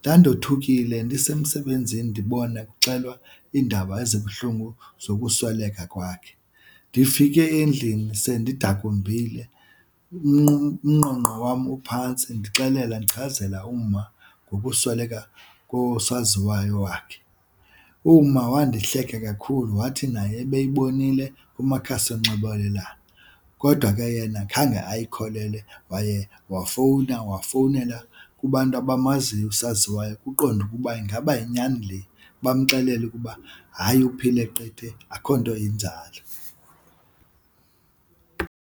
Ndandothukile ndisemsebenzini ndibone kuxelelwa iindaba ezibuhlungu sokusweleka kwakhe. Ndifike endlini sendidakumbile umnqonqo wam uphantsi ndixelela ndichazela uma ngokusweleka kosaziwayo wakhe. Uma wandihleka kakhulu wathi naye ebeyibonile kumakhasi onxibelelwano kodwa ke yena khange ayikholelwe waye wafowuna wafownelwa kubantu abamaziyo usaziwayo ukuqonda ukuba ingaba yinyani le. Bamxelela ukuba hayi uphile qethe akho nto injalo.